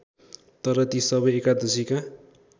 तर ती सबै एकादशीका